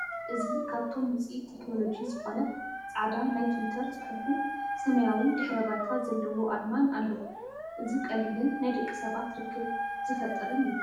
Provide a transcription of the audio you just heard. እዚ ካብቶም ውፅኢት ቴክኖሎጂ ዝኾነ ጻዕዳ ናይ ትዊተር ጽሑፍን ሰማያዊ ድሕረ ባይታ ዘለዎ ኣርማን ኣለዎ። እዚ ቀሊልን ናይ ደቂ ሰባት ርክብ ዝፈጥርን እዩ።